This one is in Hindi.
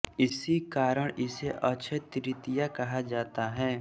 इसी कारण इसे अक्षय तृतीया कहा जाता है